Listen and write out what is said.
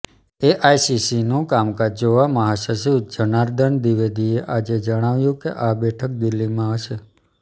એઆઈસીસીનું કામકાજ જોવા મહાસચિવ જનાર્દન દ્વિવેદીએ આજે જણાવ્યુ કે આ બેઠક દિલ્હીમાં હશે